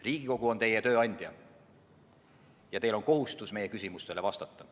Riigikogu on teie tööandja ja teil on kohustus meie küsimustele vastata.